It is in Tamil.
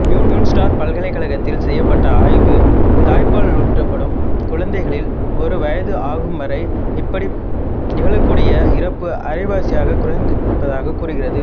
மியூன்ஸ்டர் பல்கலைக்கழகத்தில் செய்யப்பட்ட ஆய்வு தாய்ப்பாலூட்டப்படும் குழந்தைகளில் ஒரு வயது ஆகும்வரை இப்படி நிகழக்கூடிய இறப்பு அரைவாசியாக குறைந்திருப்பதாகக் கூறுகிறது